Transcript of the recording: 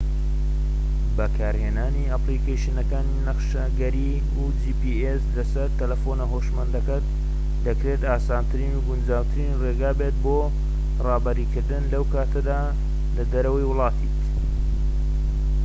بەکارهێنانی ئەپلیکەیشنەکانی نەخشەگەری جی پی ئێس لە سەر تەلەفۆنە هۆشمەندەکەت دەکرێت ئاسانترین و گونجاوترین ڕێگا بێت بۆ ڕابەری کردن لەو کاتە لە دەرەوەی وڵاتیت